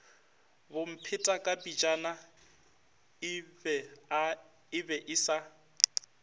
bomphetakapejana e be e sa